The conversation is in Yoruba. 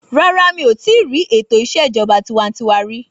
Rárá mí ò tíì rí ètò ìṣèjọba tiwańtiwa rí.